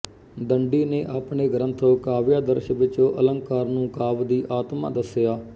ਦੰਡੀ ਨੇ ਆਪਣੇ ਗ੍ਰੰਥ ਕਾਵਿਆਦਰਸ਼ ਵਿੱਚ ਅਲੰਕਾਰ ਨੂੰ ਕਾਵਿ ਦੀ ਆਤਮਾ ਦੱਸਿਆ